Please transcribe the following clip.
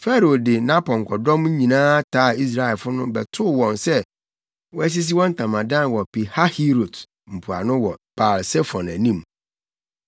Farao de nʼapɔnkɔdɔm nyinaa taa Israelfo no bɛtoo wɔn sɛ wɔasisi wɔn ntamadan wɔ Pihahirot mpoano wɔ Baal-Sefon anim.